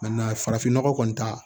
farafin nɔgɔ kɔni ta